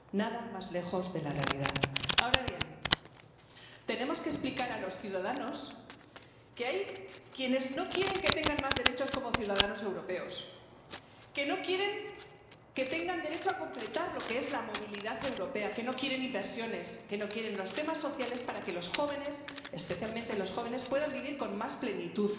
Nada más lejos de la realidad. Ahora bien, tenemos que explicar a los ciudadanos que hay quienes no quieren que tengan más derechos como ciudadanos europeos, que no quieren que tengan derecho a completar lo que es la movilidad europea, que no quieren inversiones, que no quieren los temas sociales para que los jóvenes, especialmente los jóvenes, puedan vivir con más plenitud